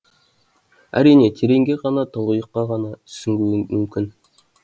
әрине тереңге ғана тұңғиыққа ғана сүңгуің мүмкін